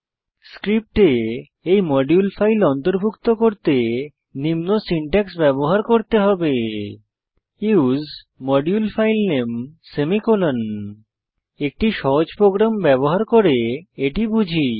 স্ক্রিপ্টে এই module file অন্তর্ভুক্ত করতে নিম্ন সিনট্যাক্স ব্যবহার করতে হবে উসে মডিউলফাইলনামে সেমিকোলন একটি সহজ প্রোগ্রাম ব্যবহার করে এটি বুঝি